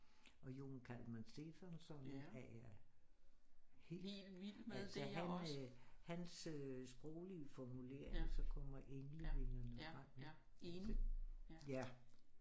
Og Jón Kalman Stefánsson er jeg helt altså han øh hans sproglige formulering så kommer englevingerne frem ikke for eksempel